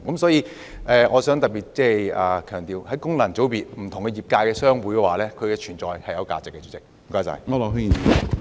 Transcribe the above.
所以，我想特別強調，功能界別議員代表不同業界的商會，因此是有存在價值的。